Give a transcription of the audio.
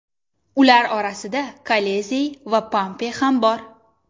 Ular orasida Kolizey va Pompey ham bor.